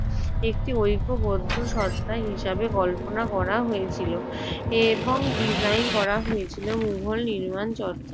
একটি ঐক্যবদ্ধ সত্ত্বা হিসেবে কল্পনা করা হয়েছিল এবং ডিজাইন করা হয়েছিল মোগল নির্মাণ চর্চায়।